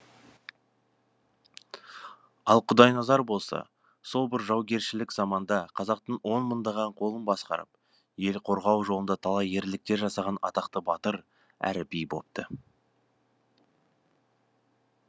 ал құдайназар болса сол бір жаугершілік заманда қазақтың он мыңдаған қолын басқарып ел қорғау жолында талай ерліктер жасаған атақты батыр әрі би бопты